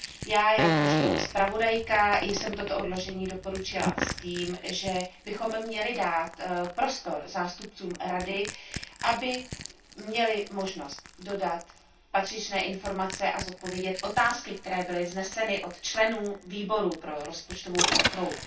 Já jakožto zpravodajka jsem toto odložení doporučila s tím, že bychom měli dát prostor zástupcům Rady, aby měli možnost dodat patřičné informace a zodpovědět minimálně otázky, které byly vzneseny od členů Výboru pro rozpočtovou kontrolu.